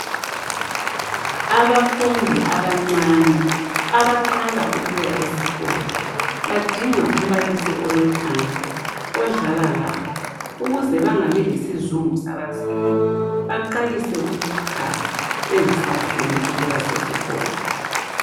Abafundi abancane abaqala ukuya esikolo badinga umbalisi olothando odlala labo ukuze bangabi lesizungu sabazali baqalise ukukhala bengasafuni ukuba sesikolo.